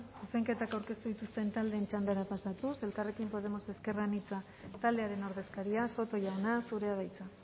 zuzenketak aurkeztu dituzten taldeen txandara pasatuz elkarrekin podemos ezker anitza taldearen ordezkaria soto jauna zurea da hitza